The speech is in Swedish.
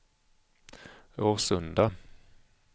Årsunda